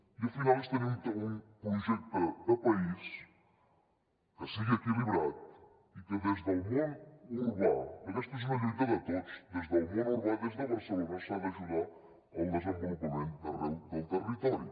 i al final és tenir un projecte de país que sigui equilibrat i que des del món urbà que aquesta és una lluita de tots des del món urbà des de barcelona s’ha d’ajudar al desenvolupament d’arreu del territori